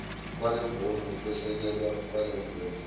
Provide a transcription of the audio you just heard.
kwalemboni ukwesekelwa kwalemboni